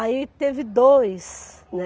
Aí teve dois, né?